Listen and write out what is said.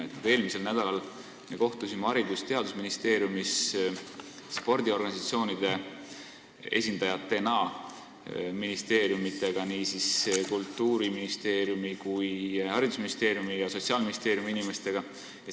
Me kohtusime eelmisel nädalal Haridus- ja Teadusministeeriumis spordiorganisatsioonide esindajate ehk ministeeriumidega, Kultuuriministeeriumi, haridusministeeriumi ja Sotsiaalministeeriumi inimestega.